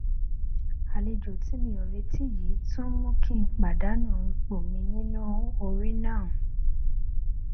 àlejò tí mi ò retí yìí tún mú kí n pàdánù ipò mi nínú ori naa